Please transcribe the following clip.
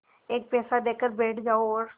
एक पैसा देकर बैठ जाओ और